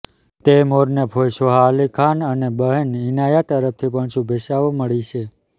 તૈમૂરને ફોઈ સોહા અલી ખાન અને બહેન ઈનાયા તરફથી પણ શુભેચ્છાઓ મળી છે